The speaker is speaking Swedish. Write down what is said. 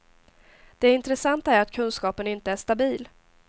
Det intressanta är att kunskapen inte är stabil.